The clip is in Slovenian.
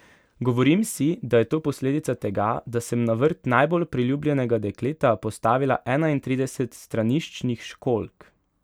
Govorim si, da je to posledica tega, da sem na vrt najbolj priljubljenega dekleta postavila enaintrideset straniščnih školjk.